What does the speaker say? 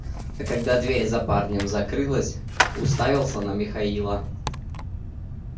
а когда дверь за парнем закрылась уставился на михаила